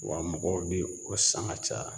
Wa mɔgɔw be o san ka caya.